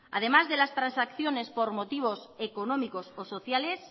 además de las transacciones por motivos económicos o sociales